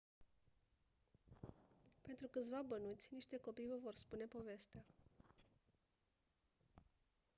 pentru câțiva bănuți niște copii vă vor spune povestea